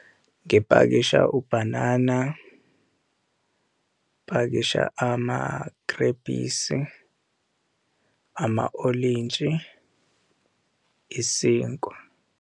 Ngipakisha ubhanana, ngipakisha amagrebhisi, ama-olintshi, isinkwa.